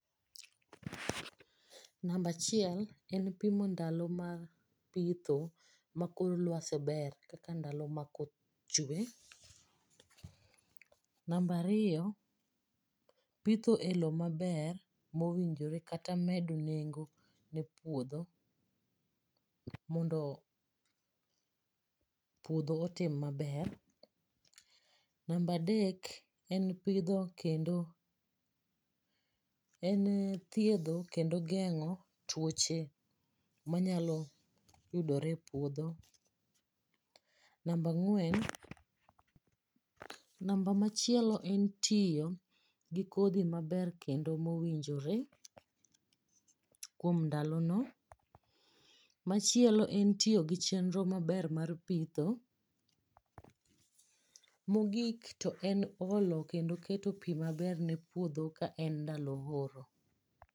Namba achiel en pimo ndalo ma pitho makor lwasi ber kaka ndalo ma koth chwe. Namba ariyo pitho e lo maber mowinjore kata medo nengo ne puodho mondo puodho otim maber. Namba adek en thiedho kendo geng'o tuoche manyalo yudore e puodho. Namba machielo en tiyo gi kodhi maber kendo mowinjore kuom ndalono. Machielo en tiyo gi chenro maber mar pitho. Mogik to en olo kendo keto pi maber ne puodho kaen ndalo oro.